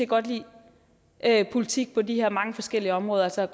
godt lide politik på de her mange forskellige områder altså